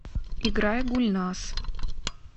играй гульназ